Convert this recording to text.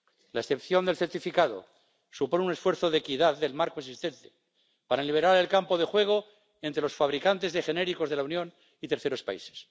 La excepción del certificado supone un esfuerzo de equidad del marco existente, para liberar el campo de juego entre los fabricantes de genéricos de la Unión y terceros países.